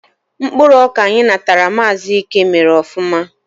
Mkpụrụ ọka anyị natara Maazi Íke mèrè ofụma